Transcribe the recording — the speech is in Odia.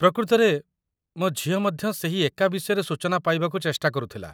ପ୍ରକୃତରେ, ମୋ ଝିଅ ମଧ୍ୟ ସେହି ଏକା ବିଷୟରେ ସୂଚନା ପାଇବାକୁ ଚେଷ୍ଟା କରୁଥିଲା